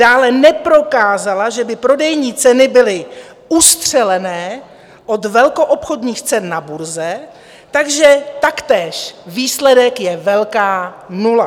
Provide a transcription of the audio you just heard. Dále neprokázala, že by prodejní ceny byly ustřelené od velkoobchodních cen na burze, takže taktéž výsledek je velká nula.